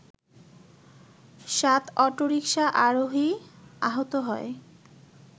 সাত অটোরিকশা আরোহী আহত হয়